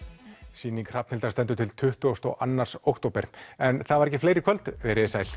sýning Hrafnhildar stendur til tuttugasta og annan október en það var ekki fleira í kvöld veriði sæl